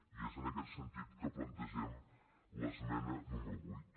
i és en aquest sentit que plantegem l’esmena número vuit